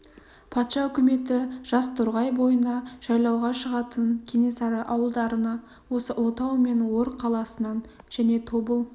патша үкіметі жаз торғай бойына жайлауға шығатын кенесары ауылдарына осы ұлытау мен ор қаласынан және тобыл